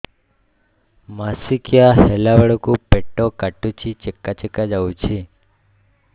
ମାସିକିଆ ହେଲା ବେଳକୁ ପେଟ କାଟୁଚି ଚେକା ଚେକା ଯାଉଚି